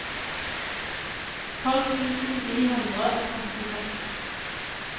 tolv tusen ni hundre og trettiseks